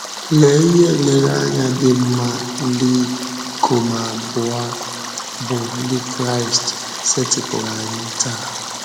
Lee ihe nlereanya dị mma ndị ikom abụọ a bụ́ Ndị Kraịst setịpụụrụ anyị taa!